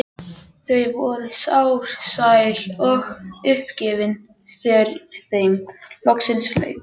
Þau voru sár, sæl og uppgefin þegar þeim loksins lauk.